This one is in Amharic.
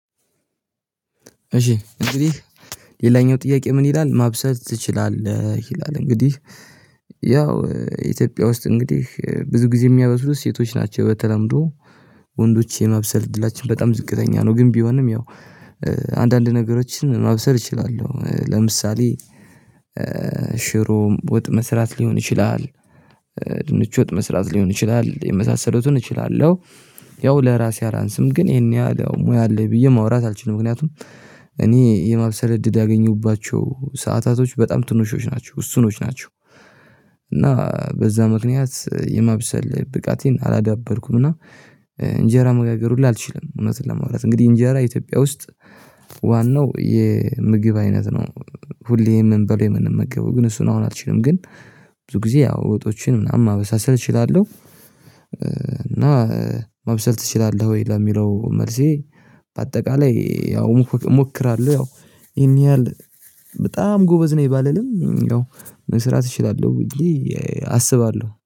እሺ እንግዲህ ሌላኛው ጥያቄ ምን ይላል ማብሰል ትችላለህ ይላል? እንግዲህ ያው ኢትዮጵያ ውስጥ እንግዲህ ብዙ ጊዜ የሚያበስሉት ሴቶች ናቸው በተለምዶ ወንዶች የማብሰል እድላችን በጣም ዝቅተኛ ነው። ግን ቢሆንም ያው አንዳንድ ነገሮችን ማብሰል እችላለሁ። ለምሳሌ ሽሮ ወጥ መስራት ሊሆን ይችላል ድንች ወጥ መስራት ሊሆን ይችላል የመሳሰለቱን እችላለሁ። ያው ለራሴ አላንስም ግን ይሄን ያህል ሙያ አለኝ ብዬ ማውራት አልችልም። ምክንያቱም እኔ የማብሰል እድል ያገኙባቸው ሰዓታቶች በጣም ትንሾች ናቸው ውስኖች ናቸው። እና በዛ ምክንያት የማብሰል ብቃቴን አላዳበርኩም። እና እንጀራ መጋገር ሁሉ አልችልም። እውነትን ለማውራት እንግዲህ እንጀራ ኢትዮጵያ ውስጥ ዋናው የምግብ አይነት ነው። ሁሌ የምንበላው የምንመገበው ግን እሱን አሁን አልችልም ግን ብዙ ጊዜ ያው ወጦችን ምናምን ማበሳሰል እችላለሁ። እና ማብሰል ትችላለህ ወይ ለሚለው? መልሴ በአጠቃላይ ያው እሞክራለሁ። ያው ይሄን ያህል በጣም ጎበዝ ነኝ ባልልም ያው መስራት እችላለሁ ብዬ አስባለሁ